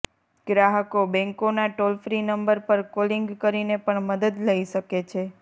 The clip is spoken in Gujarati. ગ્રાહકો બેંકોના ટોલ ફ્રી નંબર પર કોલિંગ કરીને પણ મદદ લઈ શકે છે